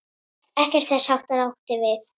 Ekkert þess háttar átti við.